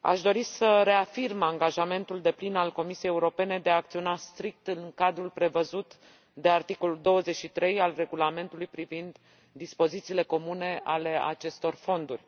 aș dori să reafirm angajamentul deplin al Comisiei Europene de a acționa strict în cadrul prevăzut de articolul 23 al Regulamentului privind dispozițiile comune ale acestor fonduri.